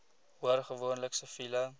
hoor gewoonlik siviele